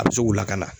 A bɛ se k'u lakana